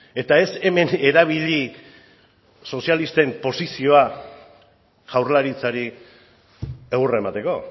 eta ez hemen erabili sozialisten posizioa jaurlaritzari egurra emateko